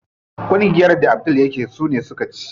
Kungiyar da Abdul yake so ne suka ci.